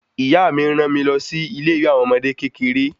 Ìyá mí ran mi lọ sí ilé ìwé àwọn ọmọdé kékeré